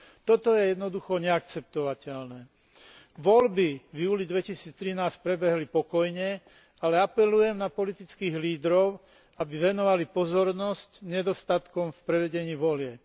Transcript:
Toto je jednoducho neakceptovateľné. Voľby v júli 2013 prebehli pokojne, ale apelujem na politických lídrov, aby venovali pozornosť nedostatkom v prevedení volieb.